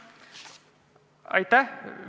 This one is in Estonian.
Aitäh!